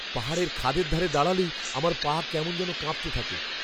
পাহাড়ের খাদের ধারে দাঁড়ালেই আমার পা কেমন যেন কাঁপতে থাকে।